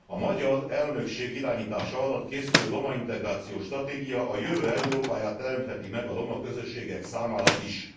A magyar elnökség irányítása alatt készülő roma integrációs stratégia a jövő Európáját teremtheti meg a roma közösségek számára is.